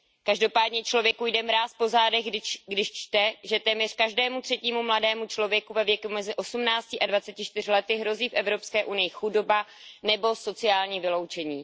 Každopádně člověku jde mráz po zádech, když čte, že téměř každému třetímu mladému člověku ve věku mezi osmnácti a dvaceti čtyřmi lety hrozí v Evropské unii chudoba nebo sociální vyloučení.